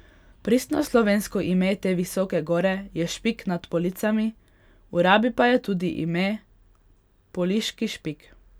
Pristno slovensko ime te visoke gore je Špik nad Policami, v rabi pa je tudi ime Poliški Špik.